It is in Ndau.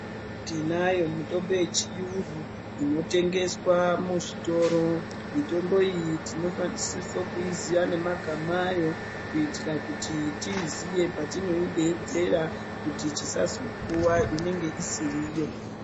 Tinayo mitombo yechiyungu inotengeswe muzvitoro mitombo iyi tinosise kuyiziye nemagama ayo kuitira kuti tiiziye patinoideedzera kuti tisazopuwa inenge isiriyo.